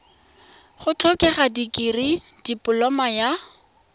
go tlhokega dikirii dipoloma ya